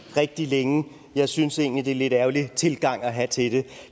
rigtig længe jeg synes egentlig det er en lidt ærgerlig tilgang at have til det